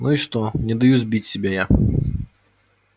ну и что не даю сбить себя я